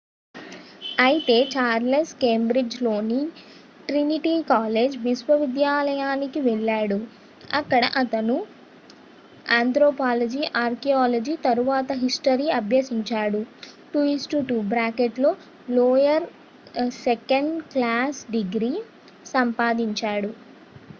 అయితే Charles Cambridge లోని Trinity college విశ్వవిద్యాలయానికి వెళ్ళాడు అక్కడ అతను ఆంత్రోపాలజీ ,ఆర్కియాలజీ తరువాత హిస్టరీ అభ్యసించాడు 2:2 లోయర్ సెకండ్ క్లాస్ డిగ్రీ సంపాదించాడు